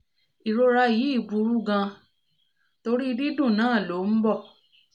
ìrora yìí burú gan-an torí dídùn náà lọ ó ń bọ̀